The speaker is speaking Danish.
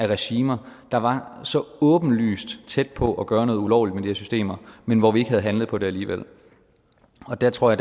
regimer der var så åbenlyst tæt på at gøre noget ulovligt med de her systemer men hvor vi ikke havde handlet på det alligevel der tror